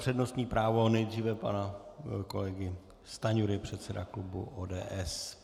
Přednostní právo nejdříve pana kolegy Stanjury, předsedy klubu ODS.